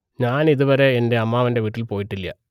ഞാൻ ഇതുവരെ എന്റെ അമ്മാവന്റെ വീട്ടിൽ പോയിട്ടില്ല